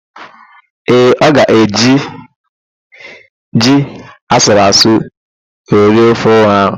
Ee, ọ ga-eji ji asụrụasụ wee rie ofe ọha ahụ.